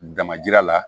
Dama jira la